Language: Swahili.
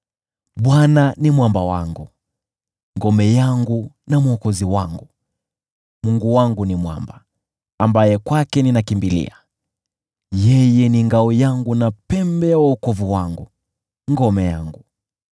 Bwana ni mwamba wangu, ngome yangu na mwokozi wangu, Mungu wangu ni mwamba, ambaye kwake ninakimbilia. Yeye ni ngao yangu na pembe ya wokovu wangu, ngome yangu.